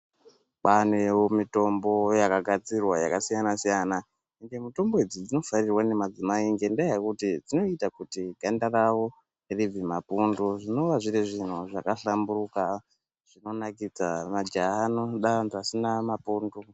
Kwavanewo mutombo dzaka gadzirwa dzakasiyana siyana mitombo idzi dzinofanirwa nemadzimai ngendaa yekuti dzinoita kuti ganda ravo ribve mapundu zvinova zviri zvinhu zvaka hlamburuka zvinonakidza majaha anoda vantu vasina mapundu.